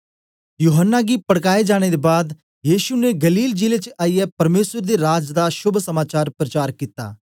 यूहन्ना गी पड़काये जाने दे बाद यीशु ने गलील जिले च आईयै परमेसर दे राज दा शोभ समाचार प्रचार कित्ता